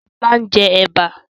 Sọlá ń jẹ Ẹ̀bà